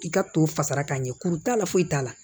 I ka to fasara ka ɲɛ kuru t'a la foyi t'a la